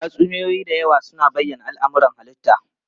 Tatsuniyoyi da yawa suna bayyana al'amuran halitta.